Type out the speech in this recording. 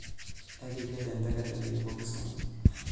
Ekiked enteke tinikipuo Kisumu.